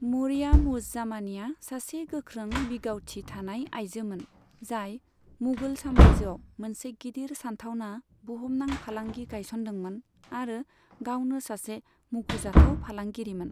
मरियाम उज जामानीआ सासे गोख्रों बिगावथि थानाय आइजोमोन, जाय मुगल साम्रायजोआव मोनसे गिदिर सानथावना बुहुमनां फालांगि गायसन्दोंमोन आरो गावनो सासे मुंखजाथाव फालांगिरिमोन।